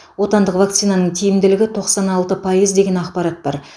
отандық вакцинаның тиімділігі тоқсан алты пайыз деген ақпарат бар